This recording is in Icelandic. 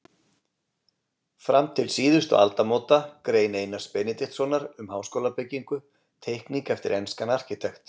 Fram til síðustu aldamóta- Grein Einars Benediktssonar um háskólabyggingu- Teikning eftir enskan arkitekt.